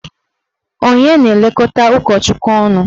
Onye na-elekọta ụkọchukwu unu?